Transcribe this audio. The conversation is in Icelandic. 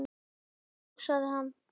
Svei mér þá, hugsaði hann.